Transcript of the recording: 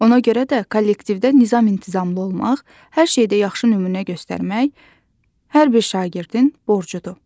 Ona görə də kollektivdə nizam-intizamlı olmaq, hər şeydə yaxşı nümunə göstərmək hər bir şagirdin borcudur.